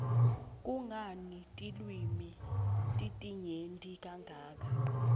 kungani tilwimi titinyenti kangaka